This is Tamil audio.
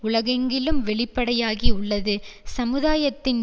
உலகெங்கிலும் வெளிப்படையாகி உள்ளது சமுதாயத்தின்